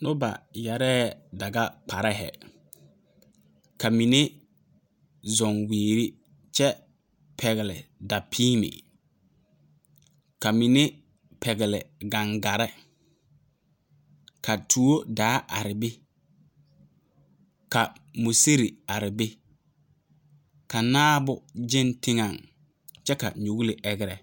Noba yɛre daga kparre, ka mine zʋŋ wiiri kyɛ pɛgele dapiimɛ ka mine pɛgele. gangarre ka tuo daa are be ka musiri are be ka naabo gan teŋɛ. kyɛ nuule agere.